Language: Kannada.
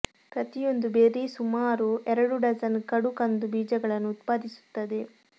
ಪ್ರತಿಯೊಂದು ಬೆರ್ರಿ ಸುಮಾರು ಎರಡು ಡಜನ್ ಕಡು ಕಂದು ಬೀಜಗಳನ್ನು ಉತ್ಪಾದಿಸುತ್ತದೆ